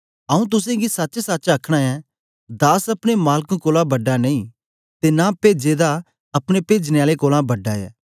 आऊँ तुसेंगी सचसच आखना ऐं दास अपने मालक कोलां बड़ा नेई ते न पेजे दा अपने पेजने आले कोलां बड़ा ऐ